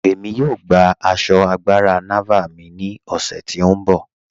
Ẹ̀mí yóò gbà àṣọ́ àgbàrá Nàvàl mí ni ọ̀ṣẹ̀ ti n bọ.